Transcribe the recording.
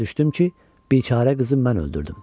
Başa düşdüm ki, biçarə qızı mən öldürdüm.